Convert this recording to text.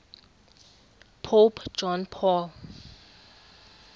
pope john paul